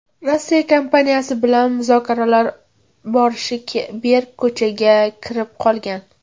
Rossiya kompaniyasi bilan muzokaralar boshi berk ko‘chaga kirib qolgan.